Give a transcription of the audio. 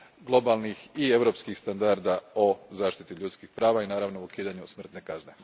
globalnih i europskih standarda o zaštiti ljudskih prava i naravno ukidanju smrtne kazne.